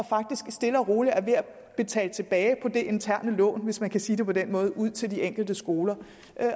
faktisk stille og roligt ved at betale tilbage på det interne lån hvis man kan sige det på den måde ud til de enkelte skoler